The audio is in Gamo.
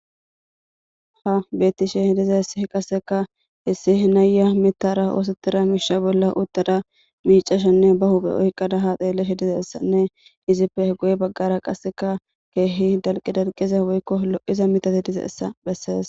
Ha betishe dizayisi qasika issi nayiya mithara osetida misha bolla utada mica,ashene ba huphe oyiqada ha xelishe dizayisa nne izippe guye bagara qasika kehi daliqidalqiza woyiko lo,iza mithati dizayisa beses